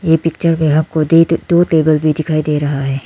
ये पिक्चर में हमको दे टिटू और टेबल भी दिखाई दे रहा है।